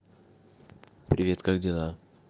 привет как дела